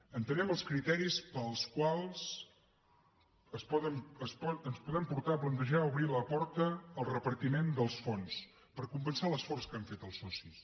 entenem els criteris pels quals ens podem portar a plantejar obrir la porta al repartiment dels fons per compensar l’esforç que han fet els socis